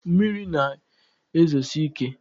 mmiri na-ezosi ike